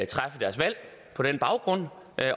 træffe deres valg på den baggrund